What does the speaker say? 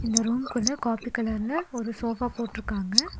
இந்த ரூம்குள்ள காப்பி கலர்ல ஒரு சோஃபா போட்ருக்காங்க.